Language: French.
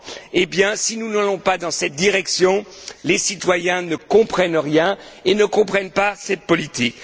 eh bien, si nous n'allons pas dans cette direction, les citoyens ne comprennent rien et ne comprennent pas cette politique.